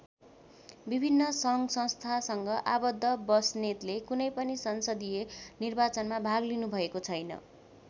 विभिन्न सङ्घसंस्थासँग आबद्ध बस्नेतले कुनै पनि संसदीय निर्वाचनमा भाग लिनुभएको छैन।